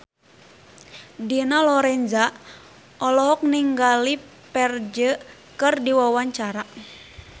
Dina Lorenza olohok ningali Ferdge keur diwawancara